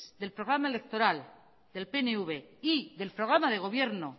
del programa electoral del pnv y del programa de gobierno